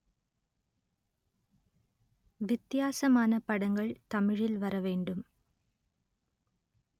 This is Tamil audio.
வித்தியாசமான படங்கள் தமிழில் வர வேண்டும்